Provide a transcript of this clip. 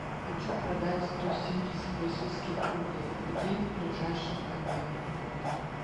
хочу продать сто семьдесят российских рублей где ближайший обменный пункт